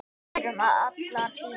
Við erum allar fínar